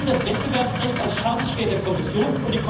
Wir haben das Wettbewerbsrecht als scharfes Schwert der Kommission.